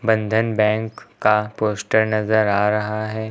बंधन बैंक का पोस्टर नजर आ रहा है।